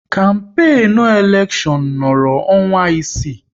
Kampenu elekshon nọrọ ọnwa isii